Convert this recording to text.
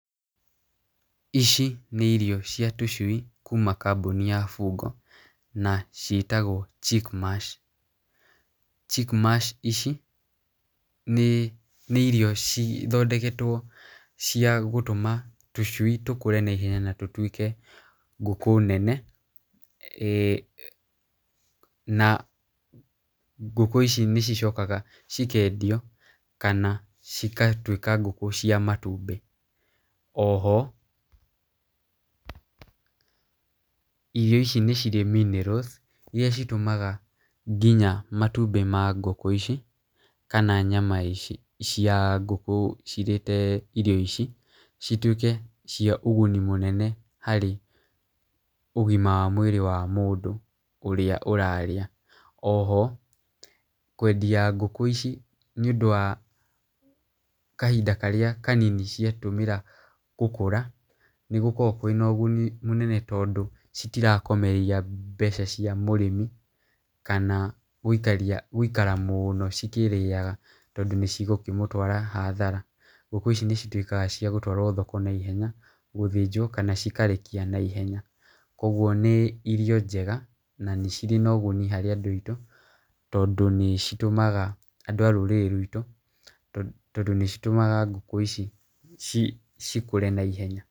Ici nĩ irio cia tũcui kuma kambũni ya Fungo, na ciĩtagwo chickmash, chickmash ici nĩ nĩ irio cithondeketwo cia gũtũma tũcui tũkũre na ihenya, na tũtwĩke ngũkũ nene,[eh] na ngũkũ ici nĩ cicokaga cikendio , kana cigatwĩka ngũkũ cia matumbĩ, oho irio ici nĩ cirĩ minerals iria citũmaga nginya matumbĩ ma ngũkũ ici, kana nyama ici cia ngũkũ cirĩhe irio ici , citwĩke cia ũguni mũnene, harĩ ũgima wa mwĩrĩ wa mũndũ ũrĩa ũrarĩa, oho kwendia ngũkũ ici nĩ ũndũ wa kahinda karĩa kanini ciatũmĩra gũkũra, nĩgũkoragwo kwĩna ũguni mũnene tondũ citirakomereria mbeca cia mũrĩmi, kana gũikara mũno ikĩrĩaga tondũ nĩ cikũmũtwara hathara, ngũkũ ici nĩ citwĩkaga cia gũtwarwo thoko na ihenya gũthĩnjwo, kana cikarekia na ihenya, kũgwo nĩ irio njega, na nĩ cirĩ na ũguni harĩ andũ aitũ tondũ nĩ citũmaga andũ a rũrĩrĩ rwitũ, tondũ nĩ citũmaga ngũkũ ici ci cikũre naihenya.